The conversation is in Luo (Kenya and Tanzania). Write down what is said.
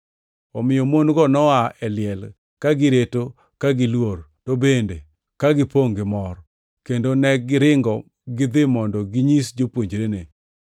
Omiyo mon-go noa e liel ka gireto, ka giluor to bende ka gipongʼ gi mor, kendo negiringo gidhi mondo ginyis jopuonjrene.